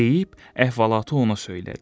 Deyib əhvalatı ona söylədi.